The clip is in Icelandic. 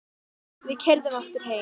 Við keyrðum aftur heim.